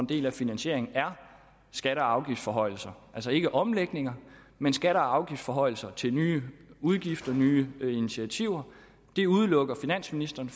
del af finansieringen er skatte og afgiftsforhøjelser altså ikke omlægninger men skatte og afgiftsforhøjelser til nye udgifter nye initiativer det udelukker finansministeren